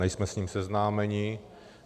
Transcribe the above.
Nejsme s ním seznámeni.